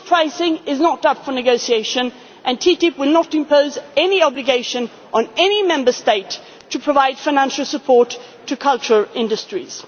as you know. Book pricing is not up for negotiation, and TTIP will not impose any obligation on any Member State to provide financial support to culture